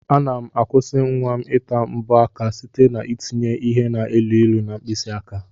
Ana m akwụsi nwam ita mbọ aka site n'ete ya ihe na elu ilu na mkpisi aka.